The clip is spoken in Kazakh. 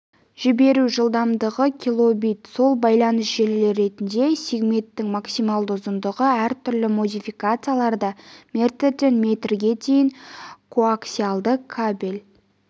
жіберу жылдамдығы килобит сол байланыс желілері ретінде сегменттің максималды ұзындығы әр түрлі модификацияларда метрден метрге дейін коаксиалды кабель